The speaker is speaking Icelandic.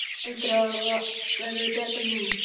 Heldurðu að það verði betra núna?